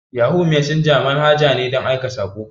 Yahu mesenja manhaja ce ta aika saƙo.